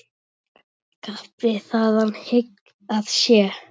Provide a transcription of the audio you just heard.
Kappi þaðan hygg að sé.